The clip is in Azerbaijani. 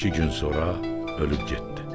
Və iki gün sonra ölüb getdi.